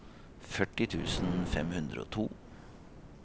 førti tusen fem hundre og to